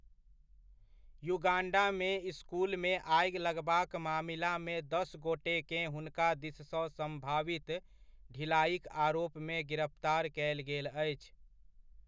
युगाण्डामे इसकुलमे आगि लगबाक मामिलामे दस गोटेकेँ हुनका दिससँ सम्भावित ढिलाइक आरोपमे गिरफ्तार कयल गेल अछि।